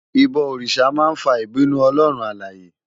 Ibò órisá má n fá ibinú Òlòrún Àláyé